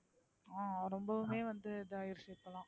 ரொம்பவே வந்து இதா யோசிச்சுருக்கலாம்.